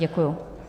Děkuji.